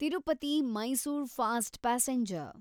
Tirupati Mysore fast passenger